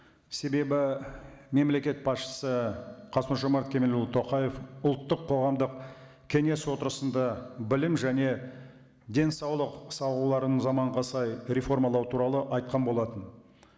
себебі мемлекет басшысы қасым жомарт кемелұлы тоқаев ұлттық қоғамдық кеңес отырысында білім және денсаулық салаларын заманға сай реформалау туралы айтқан болатын